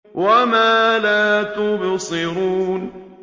وَمَا لَا تُبْصِرُونَ